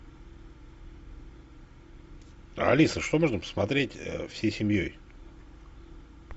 алиса что можно посмотреть всей семьей